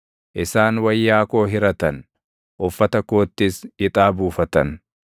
Isaan wayyaa koo hiratan; uffata koottis ixaa buufatan.